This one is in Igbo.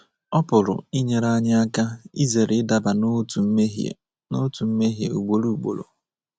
Ọ pụrụ inyere anyị aka izere ịdaba n’otu mmehie n’otu mmehie ugboro ugboro.